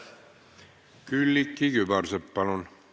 Külliki Kübarsepp, palun!